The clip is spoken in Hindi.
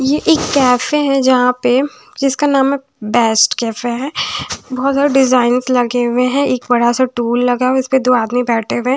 ये एक कैफे है जहाँ पे जिसका नाम है बेस्ट कैफे है बहोत ज्यादा डिजाइंस लगे हुए हैं एक बड़ा सा टूल लगा उसपे दो आदमी बैठे हुए हैं।